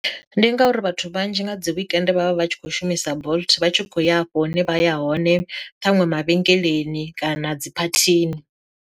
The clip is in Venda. Ndi ngauri vhathu vhanzhi nga dzi weekend vhavha vhatshi kho shumisa bolt vha tshi kho ya afho hune vha ya hone ṱhaṅwe mavhengeleni kana dzi phathini.